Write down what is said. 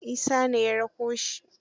Isa ne ya rako shi.